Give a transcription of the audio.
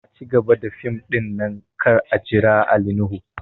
A cigaba da fim ɗin nan kar a jira Ali nuhu!